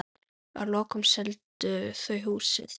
Að lokum seldu þau húsið.